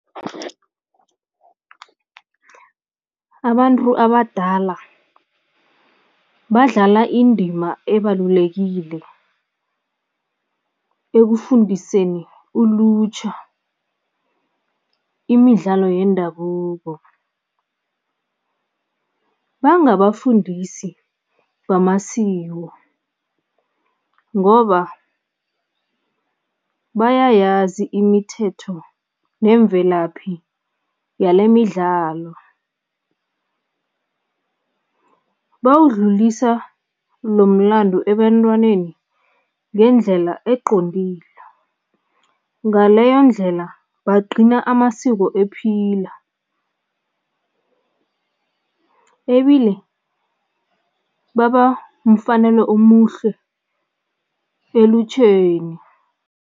Abantu abadala badlala indima ebalulekile ekufundiseni ulutjha imidlalo yendabuko. Bangabafundisi bamasiko ngoba bayayazi imithetho nemvelaphi yalemidlalo. Bawudlulisa lo mlandu ebantwaneni ngendlela eqondile, ngaleyondlela bagcina amasiko ephila ebile baba mfanelo omuhle elutjheni.